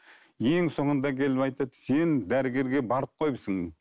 ең соңында келіп айтады сен дәрігерге барып қойыпсың